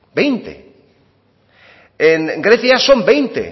veinte en grecia son veinte